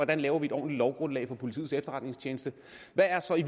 man laver et ordentligt lovgrundlag for politiets efterretningstjeneste hvad er så i